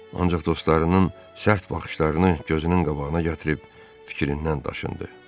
Ancaq dostlarının sərt baxışlarını gözünün qabağına gətirib fikrindən daşındı.